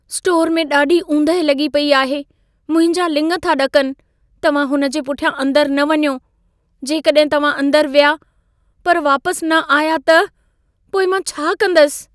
Store में ॾाढी ऊंदहि लॻी पई आहे। मुंहिंजा लिङ था ॾकनि। तव्हां हुन जे पुठियां अंदर न वञो। जेकॾहिं तव्हां अंदरि विया, पर वापसि न आया त, पोइ मां छा कंदसि?